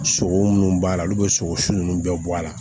Sogo munnu b'a la olu bɛ sogo su ninnu bɛɛ bɔ a la